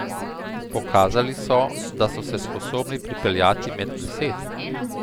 Pokazali so, da so se sposobni pripeljati med deset.